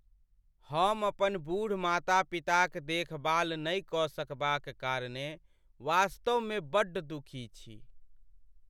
हम अपन बूढ़ माता पिताक देखभाल नहि कऽ सकबाक कारणेँ वास्तवमे बड्ड दुखी छी।